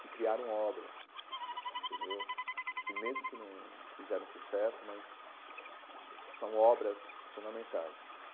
que criaram obras entendeu, que mesmo que não fizeram sucesso mas, são obras fundamentais.